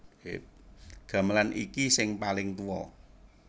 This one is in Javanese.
Gamelan iki sing paling tuwa